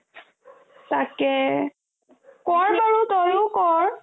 তেকেই কৰ বাৰো তইও কৰ